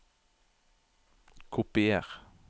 Kopier